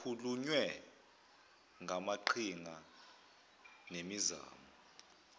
kukhulunywe ngamaqhinga nemizamo